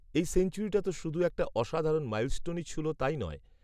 এই সেঞ্চুরিটা তো শুধু একটা অসাধারণ মাইলস্টোনই ছুঁল তাই নয়